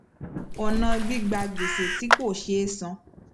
ọnà gbígba gbèsè tí kò sé san